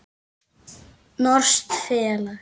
Norskt félag.